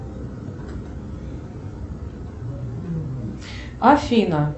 афина